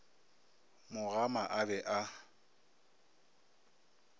mo gama a be a